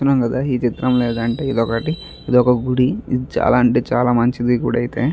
ఈ చిత్రంలో ఏంటంటే ఇదొక్కటి ఇదొక గుడి చాలా అంటే చాలా మంచిది గుడైతే.